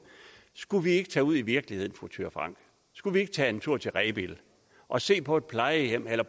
skulle vi ikke tage ud i virkeligheden fru thyra frank skulle vi ikke tage en tur til rebild og se på et plejehjem eller